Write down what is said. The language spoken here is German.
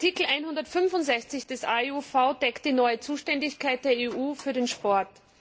Artikel 165 des AEUV deckt die neue Zuständigkeit der EU für den Sport.